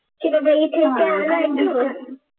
चला बाई ठेवते